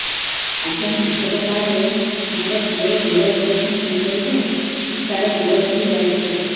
ଅଜ୍ଞା କୃଷକ କାର୍ଡ ରେ ମୋର ପୁଅର ଗୋଡ ଅପେରସନ ହୋଇପାରିବ କି ତାର ଗୋଡ ଭାଙ୍ଗି ଯାଇଛ